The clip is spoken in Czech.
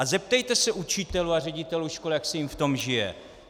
A zeptejte se učitelů a ředitelů škol, jak se jim v tom žije!